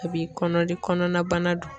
A b'i kɔnɔdi kɔnɔnabana du.